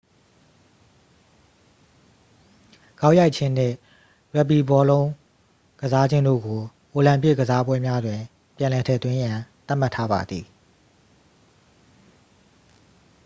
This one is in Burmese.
ဂေါက်ရိုက်ခြင်းနှင့် ရက်ဘီဘောလုံး ကစားခြင်းတို့ကို အိုလံပစ်အားကစားပွဲများတွင် ပြန်လည်ထည့်သွင်းရန် သတ်မှတ်ထားပါသည်